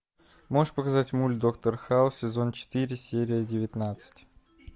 можешь показать мульт доктор хаус сезон четыре серия девятнадцать